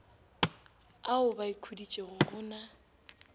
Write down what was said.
ao ba ikhuditšego go na